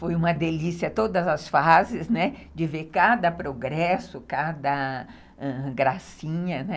Foi uma delícia todas as fases, né, de ver cada progresso, cada gracinha.